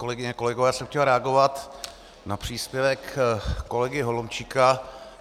Kolegyně, kolegové, já jsem chtěl reagovat na příspěvek kolegy Holomčíka.